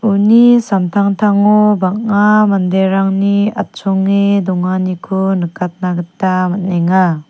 uni samtangtango bang·a manderangni atchonge donganiko nikatna gita man·enga.